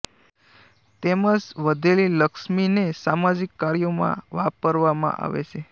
તેમજ વધેલી લક્ષ્મી ને સામાજિક કાર્યો માં વાપરવામાં આવે છે